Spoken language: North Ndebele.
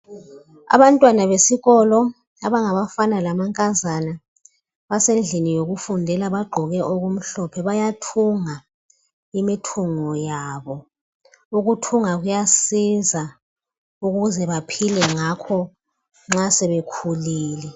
Abantwana besikolo abangabafana lamankazana basendlini yokufundla bagqoke okumhlophe bayathunga imithungo yabo, ukuthunga kuyasiza ukuze baphile ngakho nxa sebekhulile